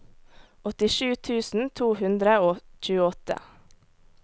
åttisju tusen to hundre og tjueåtte